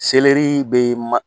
Selɛrii bɛ ma